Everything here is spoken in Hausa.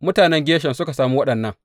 Mutanen Gershom suka sami waɗannan.